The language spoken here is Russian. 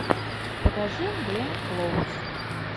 покажи гленн клоуз